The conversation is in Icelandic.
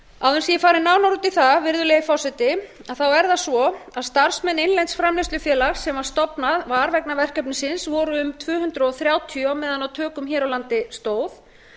að ég fari nánar út í það virðulegi forseti þá er það svo að starfsmenn innlends framleiðslufélags sem stofnað var vegna verkefnisins voru um tvö hundruð þrjátíu á meðan á tökum hér á landi stóð